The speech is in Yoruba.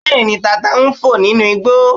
Bẹ́ẹ̀ni, tata ń fò nínú igbó